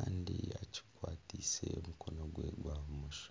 arikwenda kugura naaramuza.